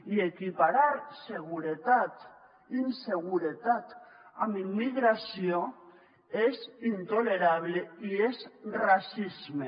i equiparar inseguretat amb immigració és intolerable i és racisme